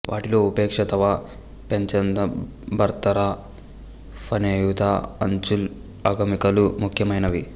వాటిలో ఉపేక్ష తవ పెచంద భార్తరా ఫనేయుతా అంచల్ అగమికలు ముఖ్యమైనవి